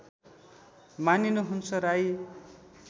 मानिनु हुन्छ राई